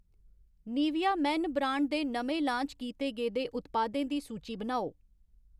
Nivea men brand दे नमें launch कीते गेदे उत्पादें दी सूची बनाओ ?